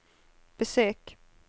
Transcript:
besök